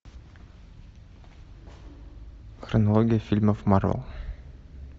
хронология фильмов марвел